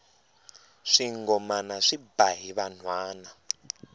swingomana swi ba hi vanhwana